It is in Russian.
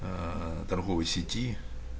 ээ торговой сети